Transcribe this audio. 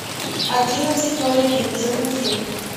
одиннадцать ноль один загрузи